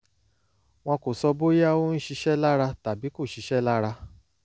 wọ́n kàn sọ bóyá ó ń ṣiṣẹ́ lára tàbí kò ṣiṣẹ́ lára